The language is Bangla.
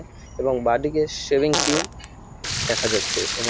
এবং বাঁদিকে শেভিং ক্রিম দেখা যাচ্ছে এবং--